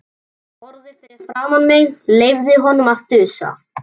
Ég horfði fram fyrir mig, leyfði honum að þusa.